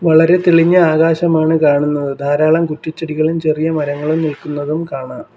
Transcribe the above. വളരെ തെളിഞ്ഞ ആകാശമാണ് കാണുന്നത് ധാരാളം കുറ്റിചെടികളും ചെറിയ മരങ്ങളും നിൽക്കുന്നതും കാണാ --